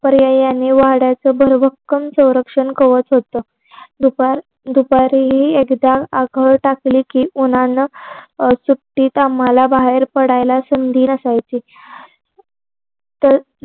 पर्यायाने वाड्याचं भरभक्कम सौरक्षण कवच होत. दुपारी दुपारीही एकदा आकल टाकली कि उन्हानं सुट्टीत आम्हाला बाहेर पडायला संधी नसायची ते